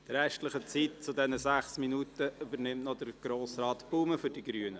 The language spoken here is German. Die verbleibende Zeit dieser sechs Minuten übernimmt Grossrat Baumann von den Grünen.